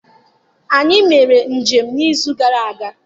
Anyị mere njem n'izu gara aga.